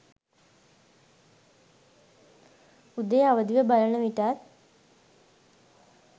උදේ අවදිව බලන විටත්